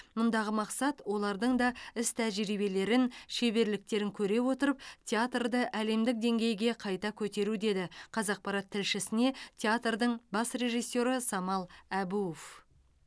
мұндағы мақсат олардың да іс тәжірибелерін шеберліктерін көре отырып театрды әлемдік деңгейге қарай көтеру деді қазақпарат тілшісіне театрдың бас режиссері самал әбуов